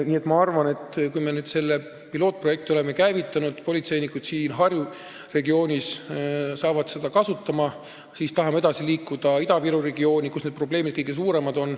Nii et kui me selle pilootprojekti oleme käivitanud, politseinikud siin Harju regioonis saavad seda kasutada, siis tahame edasi liikuda Ida-Viru regiooni, kus need probleemid on kõige suuremad.